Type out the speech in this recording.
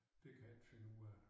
Det kan jeg ikke finde ud af